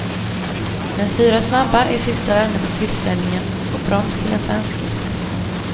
Men fyra snabba i sista vände på tillställningen och brons till de svenske.